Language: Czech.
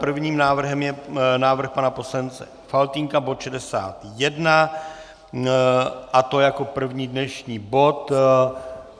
Prvním návrhem je návrh pana poslance Faltýnka - bod 61, a to jako první dnešní bod.